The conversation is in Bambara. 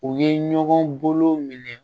U ye ɲɔgɔn bolo minɛ